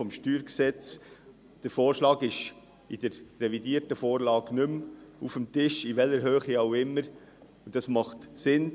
das StG. Der Vorschlag ist in der revidierten Vorlage nicht mehr auf dem Tisch, in welcher Höhe auch immer, und dies ist sinnvoll.